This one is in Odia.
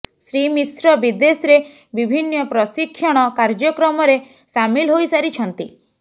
ଶ୍ରୀ ମିଶ୍ର ବିଦେଶରେ ବିଭିନ୍ନ ପ୍ରଶିକ୍ଷଣ କାର୍ଯ୍ୟକ୍ରମରେ ସାମିଲ ହୋଇସାରିଛନ୍ତି